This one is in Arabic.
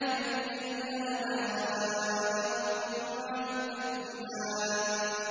فَبِأَيِّ آلَاءِ رَبِّكُمَا تُكَذِّبَانِ